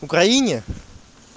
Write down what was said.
в украине